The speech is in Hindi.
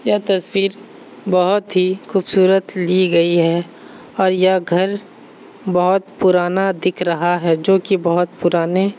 ये तस्वीर बहुत ही खूबसूरत ली गई है और ये घर बहुत ही पुराना दिख रहा है जो की बहुत पुराने --